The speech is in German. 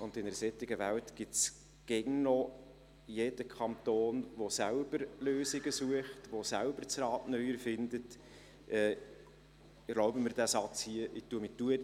und in einer solchen Welt gibt es immer noch jeden Kanton, der selber Lösungen sucht, der selber das Rad neu erfindet.